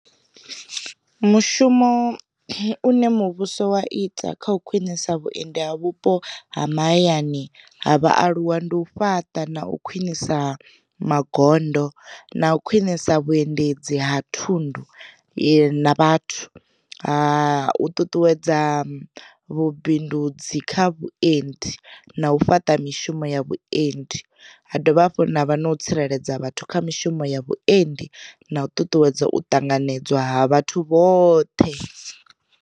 Mushumo une muvhuso wa ita kha u khwinisa vhuendi ha vhupo ha mahayani ha vhaaluwa ndi u fhaṱa, na u khwinisa magondo, na u khwinisa vhuendedzi ha thundu na vhathu, ha u ṱuṱuwedza vhubindudzi kha vhuendi, na u fhaṱa mishumo ya vhutendi, ha dovha hafhu nda vha na u tsireledza vhathu kha mishumo ya vhutendi na u ṱuṱuwedza u ṱanganedzwa ha vhathu vhoṱhe.